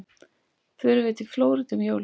Förum við til Flórída um jólin?